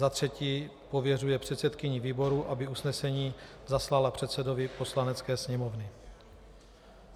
Za třetí, pověřuje předsedkyni výboru, aby usnesení zaslala předsedovi Poslanecké sněmovny.